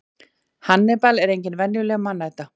hannibal er engin venjuleg mannæta